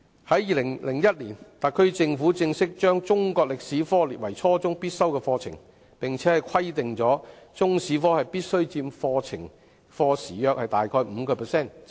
在2001年，特區政府正式把中國歷史科列為初中必修課程，並且規定中史科必須佔課時約 5%， 以加強中史教育。